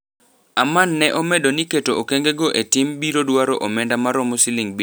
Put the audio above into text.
Aman ne omedo ni keto okenge go e tim biro dwaro omenda maromo siling bilion ario. Ma biro timore kwom higni abich.